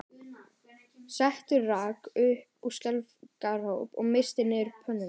Setta rak upp skelfingaróp og missti niður pönnuna